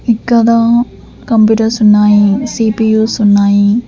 ఇక్కడ కంప్యూటర్స్ ఉన్నాయి C P Us ఉన్నాయి.